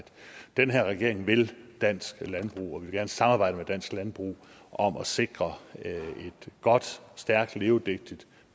den her regering vil dansk landbrug og vi vil samarbejde med dansk landbrug om at sikre et godt stærkt levedygtigt og